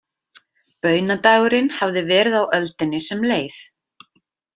Baunadagurinn hafði verið á öldinni sem leið.